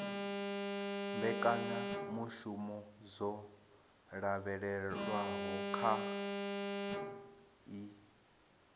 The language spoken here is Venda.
mbekanyamushumo dzo lavhelelwaho kha ii